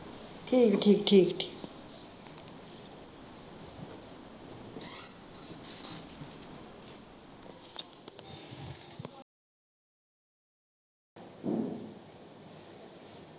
ਠੀਕ ਠੀਕ ਠੀਕ ਠੀਕ